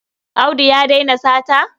Audu ya daina sata.